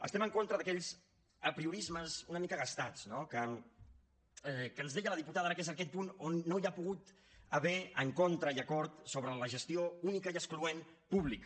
estem en contra d’aquells apriorismes una mica gastats no que ens deia la diputada ara que és aquest punt on no hi ha pogut haver encontre i acord sobre la gestió única i excloent pública